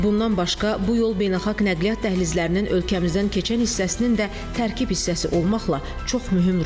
Bundan başqa, bu yol beynəlxalq nəqliyyat dəhlizlərinin ölkəmizdən keçən hissəsinin də tərkib hissəsi olmaqla çox mühüm rol oynayır.